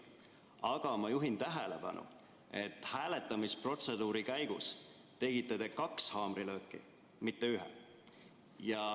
Aga ma juhin tähelepanu, et hääletamisprotseduuri käigus tegite te kaks haamrilööki, mitte ühe.